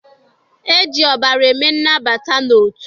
E ji ọbara eme nnabata n'otu.